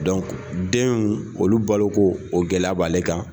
denw olu balo ko o gɛlɛya b'ale kan.